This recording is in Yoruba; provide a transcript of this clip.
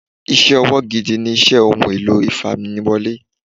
Iṣẹ́ ọwọ́ gidi ni iṣẹ́ Ohun èlò ìfamiwọlé.